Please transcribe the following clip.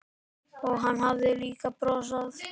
Og hann hafði líka brosað.